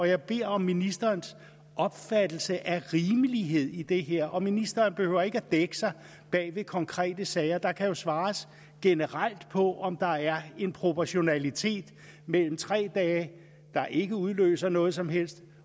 jeg beder om ministerens opfattelse af rimelighed i det her og ministeren behøver ikke dække sig bag konkrete sager der kan jo svares generelt på om der er en proportionalitet mellem tre dage der ikke udløser noget som helst